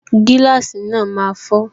Gíláàsì náà máa fọ